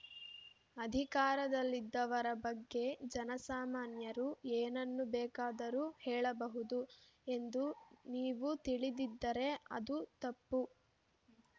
ಅಧಿಕಾರದಲ್ಲಿದ್ದವರ ಬಗ್ಗೆ ಜನಸಾಮಾನ್ಯರು ಏನನ್ನು ಬೇಕಾದರೂ ಹೇಳಬಹುದು ಎಂದು ನೀವು ತಿಳಿದಿದ್ದರೆ ಅದು ತಪ್ಪು